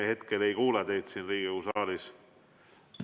Me hetkel ei kuule teid siin Riigikogu saalis.